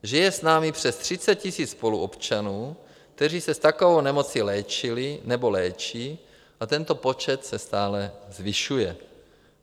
Žije s námi přes 30 000 spoluobčanů, kteří se s takovou nemocí léčili nebo léčí, a tento počet se stále zvyšuje.